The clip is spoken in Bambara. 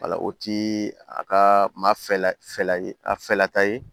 o ti a ka ma fɛla ye a fɛlata ye